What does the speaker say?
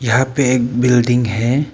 यहां पे एक बिल्डिंग है।